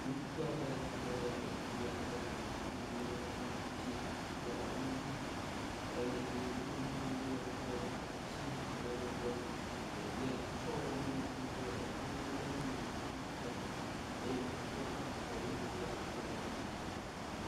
Ŋutsu aɖe kple ɖevi aɖe wonɔ anyi ɖe kplɔ ŋuti le enu ɖum, eye nuɖuɖu le wo gbɔ, etsi hã le wo gbɔ. Ɖevia kɔ nuɖuɖu le dedem nu me na ŋutsua eye ŋutsua exɔ nuɖuɖua kple dzidzɔ.